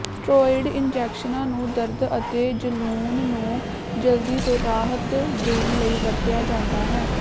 steroid ਇੰਜੈਕਸ਼ਨਾਂ ਨੂੰ ਦਰਦ ਅਤੇ ਜਲੂਣ ਨੂੰ ਜਲਦੀ ਤੋਂ ਰਾਹਤ ਦੇਣ ਲਈ ਵਰਤਿਆ ਜਾਂਦਾ ਹੈ